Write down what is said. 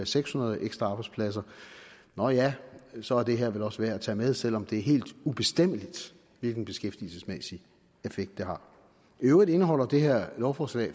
seks hundrede ekstra arbejdspladser nå ja så er det her vel også værd at tage med selv om det er helt ubestemmeligt hvilken beskæftigelsesmæssig effekt det har i øvrigt indeholder det her lovforslag